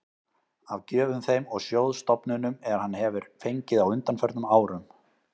af gjöfum þeim og sjóðstofnunum, er hann hefir fengið á undanförnum árum.